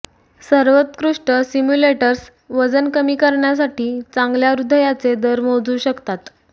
सर्वोत्कृष्ट सिम्युलेटर्स वजन कमी करण्यासाठी चांगल्या हृदयाचे दर मोजू शकतात